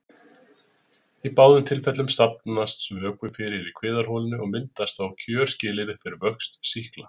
Í báðum tilfellum safnast vökvi fyrir í kviðarholinu og myndast þá kjörskilyrði fyrir vöxt sýkla.